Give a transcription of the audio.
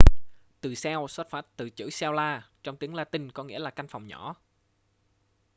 từ cell xuất phát từ chữ cella trong tiếng latinh có nghĩa là căn phòng nhỏ